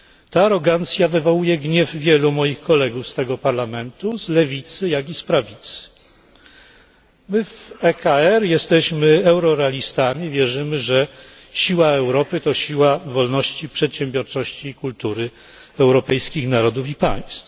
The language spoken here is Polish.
Ta arogancja wywołuje gniew wielu moich kolegów z tego Parlamentu, z lewicy jak i z prawicy. My w ECR jesteśmy eurorealistami i wierzymy, że siła Europy to siła wolności, przedsiębiorczości i kultury europejskich narodów i państw.